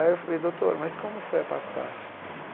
Aí eu falei, doutor, mas como foi a passagem?